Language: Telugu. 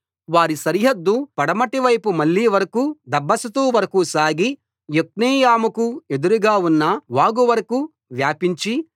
వారి సరిహద్దు పడమటి వైపు మళ్లీ వరకూ దబ్బాషతు వరకూ సాగి యొక్నెయాముకు ఎదురుగా ఉన్న వాగు వరకూ వ్యాపించి